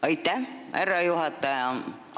Aitäh, härra juhataja!